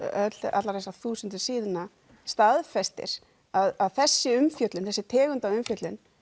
allar þessar þúsundir síðna staðfestir að þessi umfjöllun þessi tegund af umfjöllun